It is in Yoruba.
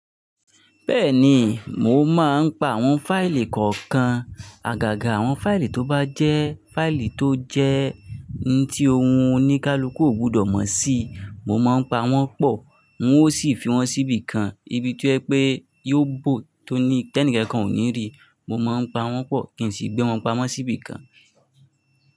Bẹ́ẹ̀ni, mò máa ń pa àwọn fáìlì kọ̀ọ̀kan. Àgàgà àwọn fáìlì tó bá jẹ́ fáìlì tó jẹ́ ní tí ohun oníkálukú ò gbọdọ̀ mọ̀ sí, mò máa ń pa wọ́n pọ̀, wọn ó sì fi wọ́n síbi kan, ibi tí yẹ pé yóò bò tó ní tẹ́nìkẹ́ kan ò ní rí, mò máa ń pa wọ́n pọ̀ kí n sì gbé wọn pamọ́ síbi kan.